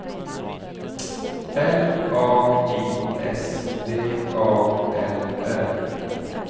L A I S V A L L